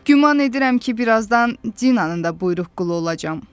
Güman edirəm ki, bir azdan Dinanın da buyruq qulu olacam.